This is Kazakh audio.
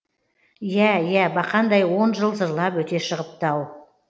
иә иә бақандай он жыл зырлап өте шығыпты ау